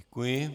Děkuji.